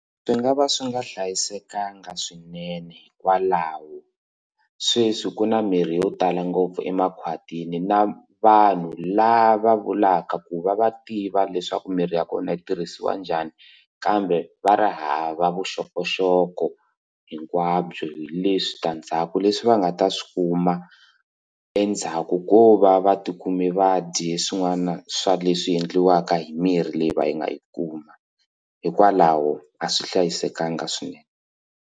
Swi nga va swi nga hlayisekanga swinene hikwalaho sweswi ku na mirhi yo tala ngopfu emakhwatini na vanhu lava vulaka ku va va tiva leswaku mirhi ya kona yi tirhisiwa njhani kambe va ri hava vuxokoxoko hinkwabyo hileswi switandzhaku leswi va nga ta swi kuma endzhaku ko va va tikume vadye swin'wana swa leswi endliwaka hi mirhi leyi va yi nga yi kuma hikwalaho a swi hlayisekanga swinene.